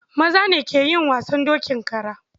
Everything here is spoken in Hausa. Maza ne ke yin wasan dokin kara.